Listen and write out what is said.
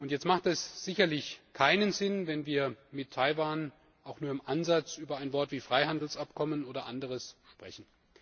Jetzt ergibt es sicherlich keinen Sinn, wenn wir mit Taiwan auch nur im Ansatz über ein Wort wie Freihandelsabkommen oder anderes sprechen.